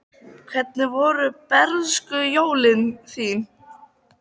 Hvernig voru bernskujólin þín?